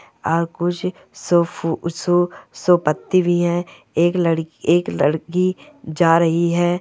और कुछ सोफो सोफा पत्ती भी है एक लड़की एक लड़की जा रही है।